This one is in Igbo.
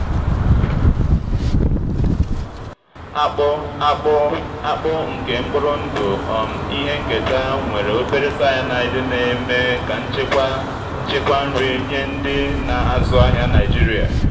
akpụ akpụ akpụ nke mkpụrụ ndụ um ihe nketa nwere obere cyanide na-eme ka nchekwa nchekwa nri nye ndị na-azụ ahịa naịjirịa.